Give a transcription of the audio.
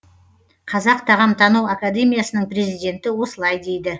қазақ тағамтану академиясының президенті осылай дейді